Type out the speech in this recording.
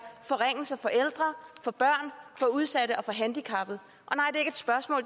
forringelser for ældre for børn for udsatte og for handicappede